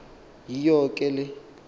yiyo ke le